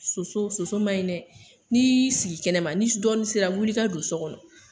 Soso ,soso man ɲi dɛ. Ni sigila kɛnɛma ni dɔɔni sera wuli i ka don so kɔnɔ.